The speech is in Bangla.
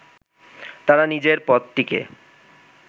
তারা নিজের পদটিকে